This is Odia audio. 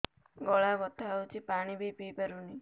ଗଳା ବଥା ହଉଚି ପାଣି ବି ପିଇ ପାରୁନି